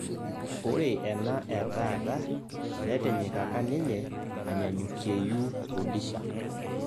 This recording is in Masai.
Ore ena etaata netinyikaka ninye anyanyukieyu Rudisha